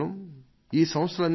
ఇలాంటి ఎన్నో చర్చలు వారితో జరిగాయి